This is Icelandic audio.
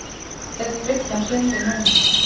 Ef bryggjan hryndi núna.